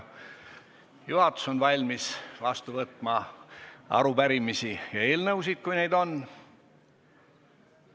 Juhatus on valmis vastu võtma arupärimisi ja eelnõusid, kui neid on.